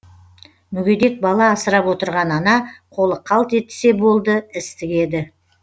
мүгедек бала асырап отырған ана қолы қалт етсе болды іс тігеді